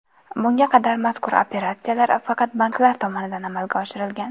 Bunga qadar mazkur operatsiyalar faqat banklar tomonidan amalga oshirilgan.